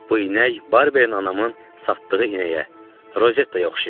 Bu inək Barberin anamın satdığı inəyə, Rozettaya oxşayırdı.